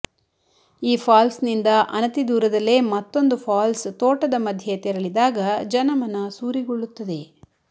ಈ ಫಾಲ್ಸ್ನಿಂದ ಅನತಿ ದೂರದಲ್ಲೇ ಮತ್ತೊಂದು ಫಾಲ್ಸ್ ತೋಟದ ಮಧ್ಯೆ ತೆರಳಿದಾಗ ಜನ ಮನ ಸೂರೆಗೊಳ್ಳುತ್ತದೆ